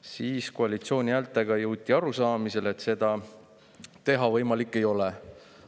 Siis jõuti koalitsiooni häältega arusaamisele, et seda teha võimalik ei ole.